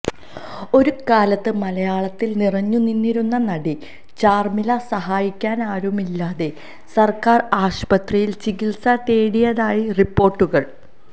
ഒരുകാലത്ത് മലയാളത്തിൽ നിറഞ്ഞുനിന്നിരുന്ന നടി ചാർമിള സഹായിക്കാനാരുമില്ലാതെ സർക്കാർ ആശുപത്രിയിൽ ചികിത്സ തേടിയതായി റിപ്പോർട്ടുകൾ